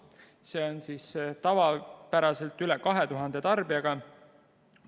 Suur reostuskoormus on tavapäraselt üle 2000 tarbijaga.